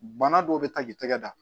Bana dɔw bɛ taa k'i tɛgɛ da